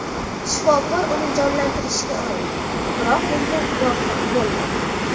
Shifokor uni jonlantirishga urindi, biroq bunga muvaffaq bo‘lmadi.